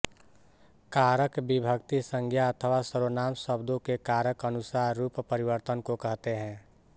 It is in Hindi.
कारक विभक्ति संज्ञा अथवा सर्वनाम शब्दों के कारक अनुसार रूपपरिवर्तन को कहते हैं